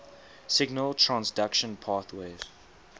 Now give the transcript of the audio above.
signal transduction pathways